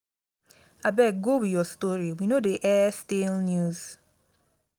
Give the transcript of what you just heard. abeg go with your story we no dey air stale news